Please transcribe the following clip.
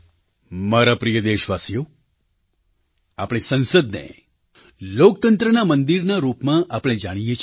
મારા પ્રિય દેશવાસીઓ આપણી સંસદને લોકતંત્રના મંદિરના રૂપમાં આપણે જાણીએ છીએ